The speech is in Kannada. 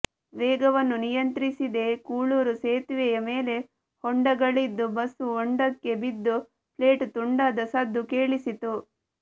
ವೇಗವನ್ನು ನಿಯಂತ್ರಿಸಿದೆ ಕೂಳೂರು ಸೇತುವೆಯ ಮೇಲೆ ಹೊಂಡಗಳಿದ್ದು ಬಸ್ಸು ಹೊಂಡಕ್ಕೆ ಬಿದ್ದು ಪ್ಲೇಟ್ ತುಂಡಾದ ಸದ್ದು ಕೇಳಿಸಿತು